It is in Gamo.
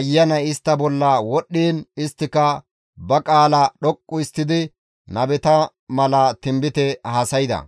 ayanay istta bolla wodhdhiin isttika ba qaala dhoqqu histtidi nabeta mala tinbite haasayda.